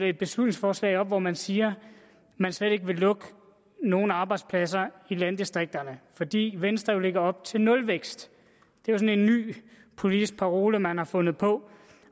et beslutningsforslag hvor man siger man slet ikke vil lukke nogen arbejdspladser i landdistrikterne fordi venstre jo lægger op til nulvækst det er en ny politisk parole man har fundet på